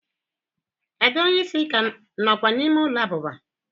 ada onye isi ka nokwa n'ime ulo abuba?